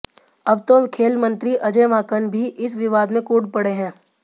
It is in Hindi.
अब तो खेल मंत्री अजय माकन भी इस विवाद में कूद पड़े हैं